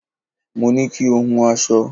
Mo ní kí o hun aṣọ